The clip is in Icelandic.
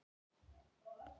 Að ég sé sammála honum.